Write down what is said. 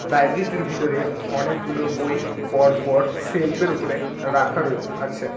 লাইব্রেরিটির ভিতরে অনেকগুলো বই পরপর সেলফের উপরে রাখা রয়ে আছে।